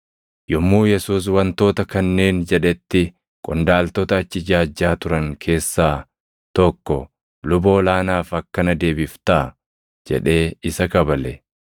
Yommuu Yesuus wantoota kanneen jedhetti qondaaltota achi ijaajjaa turan keessaa tokko, “Luba ol aanaaf akkana deebiftaa?” jedhee isa kabale.